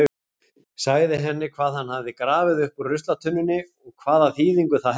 Sagði henni hvað hann hafði grafið upp úr ruslatunnunni og hvaða þýðingu það hefði.